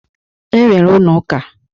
E nwere ụnọ ụka.